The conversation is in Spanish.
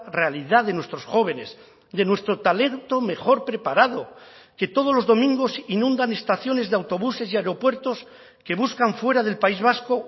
realidad de nuestros jóvenes de nuestro talento mejor preparado que todos los domingos inundan estaciones de autobuses y aeropuertos que buscan fuera del país vasco